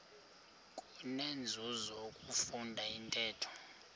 kunenzuzo ukufunda intetho